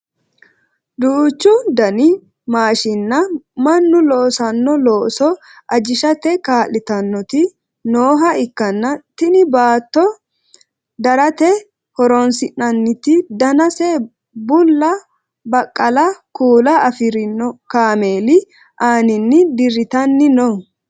duuchu dani maashinna mannu loosanno looso ajishate kaa'litannoti nooha ikkanna tini baatto darate horonsi'naniti danase bullla baqqala kuula afirino kameeli aaninni dirritanni no